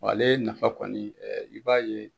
Wa ale nafa kɔni i b'a ye.